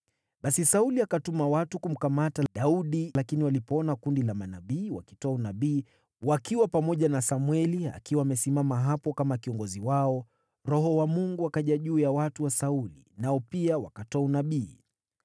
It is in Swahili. Basi Sauli akatuma watu kumkamata Daudi, lakini walipoona kundi la manabii wakitoa unabii, wakiwa pamoja na Samweli akiwa amesimama hapo kama kiongozi wao, Roho wa Mungu akaja juu ya watu wa Sauli, nao pia wakatoa unabii.